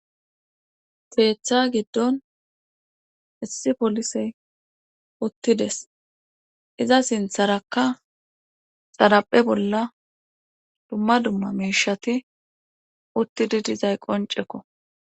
keetta giddon issi polisse uttides;iza sitarakka xaraphe bolla dumma dumma miishati uttidi dizay qoncceko.